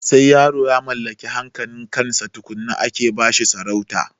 Sai yaro ya mallaki hankalin kansa tukunna ake basa sarauta